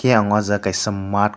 tei ang o jaga kaisa mat.